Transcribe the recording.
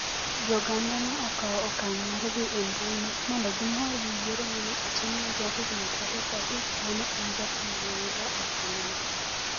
Jo-Ganda ne okawo okang ' mar dhi e mbui mondo gimor gi yiero ma ne otim ne jahigini 35 ma ne en jathum mang'ula e pinyno.